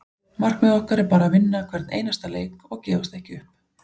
Markmið okkar er bara að vinna hvern einasta leik og gefast ekki upp.